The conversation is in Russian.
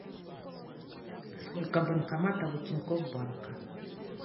сколько банкоматов у тинькофф банка